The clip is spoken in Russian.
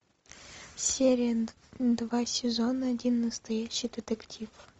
серия два сезон один настоящий детектив